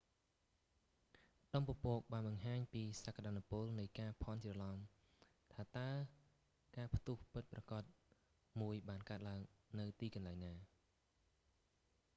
ដុំពពកបានបង្ហាញពីសក្ដានុពលនៃការភាន់ច្រឡំ ថាតើការផ្ទះពិតប្រាកដមួយបានកើតឡើងនៅទីកន្លែងណា